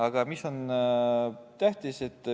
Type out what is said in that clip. Aga mis on tähtis?